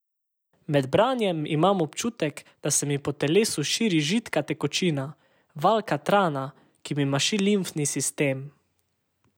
Med branjem imam občutek, da se mi po telesu širi židka tekočina, val katrana, ki mi maši limfni sistem.